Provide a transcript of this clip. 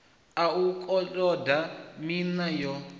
a u koloda miṋa yo